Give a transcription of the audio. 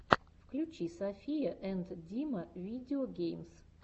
включи софия энд дима видео геймс